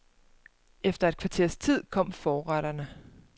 Efter et kvarters tid kom forretterne.